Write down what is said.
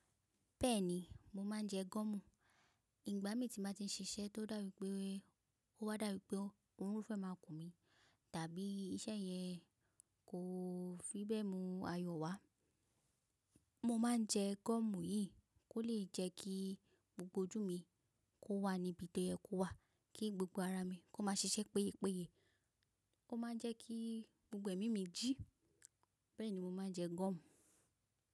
Bẹ́ẹ̀ni, mo máa ń jẹ gọ́mù. Ìgbà mi tí màá ti ń ṣiṣẹ́ tó dàwípé, ó wá dàwípé ọrùn fẹ́ máa kù mi, tàbí iṣẹ́ yẹn kò fi bẹ́ẹ̀ mú ayọ̀ wá, mo máa ń jẹ gọ́mù yìí kó lè jẹ́ kí gbogbo ojú mi kó wà níbi to yẹ kó wà, kí gbogbo ara mi kó má ṣe ṣiṣẹ́ péye péye. Ó máa ń jẹ́ kí gbogbo ẹ̀mí mi jí. Bẹ́ẹ̀ni mo máa ń jẹ gọ́mù.